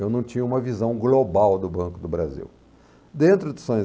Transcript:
Eu não tinha uma visão global do Banco do Brasil.